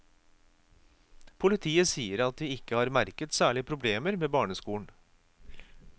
Politiet sier at de ikke har merket særlige problemer ved barneskolen.